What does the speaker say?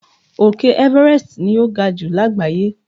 Òkè Everest ni o ga ju lágbàáyé